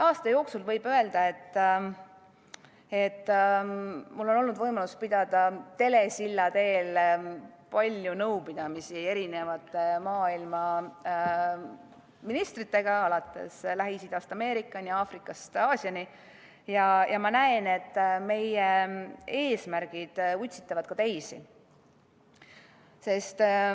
Aasta jooksul on mul olnud võimalus pidada telesilla teel nõupidamisi paljude maailma ministritega, Lähis-Idast Ameerikani ja Aafrikast Aasiani, ja ma näen, et meie eesmärgid utsitavad ka teisi.